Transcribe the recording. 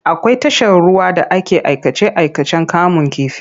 Akwai tashar ruwa da ake aikace-aikacen kamun kifi.